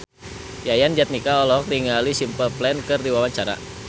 Yayan Jatnika olohok ningali Simple Plan keur diwawancara